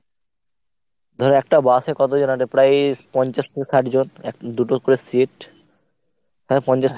ধর একটা bus এ কতজন আঁটে প্রায়ই পঞ্চাশ থেকে ষাট জন। এক দুটো করে seat তা পঞ্চাশ তো ষাটজন